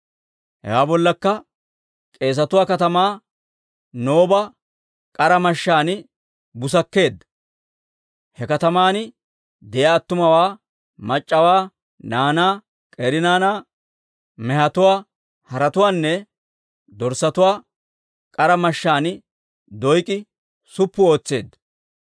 Hewaa bollakka k'eesatuwaa katamaa, Nooba k'ara mashshaan busakkeedda; he kataman de'iyaa attumawaa, mac'c'awaa, naanaa, k'eeri naanaa, mehetuwaa, haretuwaanne dorssatuwaa k'ara mashshaan Doyk'i suppu ootseedda.